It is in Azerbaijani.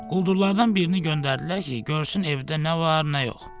Quldurlardan birini göndərdilər ki, görsün evdə nə var, nə yox.